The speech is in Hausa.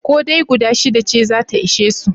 Ko dai guda shida ce za ta ishe su?